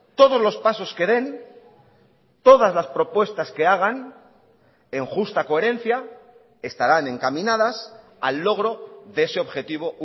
todos los pasos que den todas las propuestas que hagan en justa coherencia estarán encaminadas al logro de ese objetivo